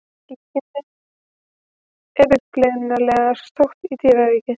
Líkingin er upprunalega sótt í dýraríkið.